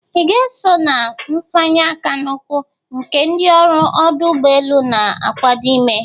Ị ga-eso na nfanye aka na ukwu nke ndị ọrụ ọdụ ụgbọelu na-akwado ime?